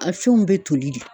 A fɛnw bɛ toli de.